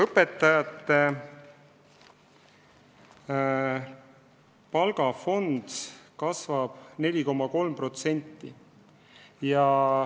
Õpetajate palgafond kasvab 4,3%.